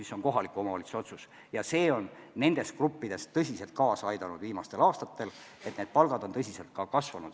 See on kohaliku omavalitsuse otsus, mis on viimastel aastatel tõsiselt kaasa aidanud, et palgad on nendes gruppides päris palju kasvanud.